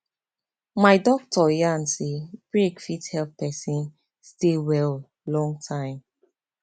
my doctor yarn say break fit help person stay well long time